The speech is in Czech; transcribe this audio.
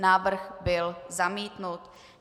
Návrh byl zamítnut.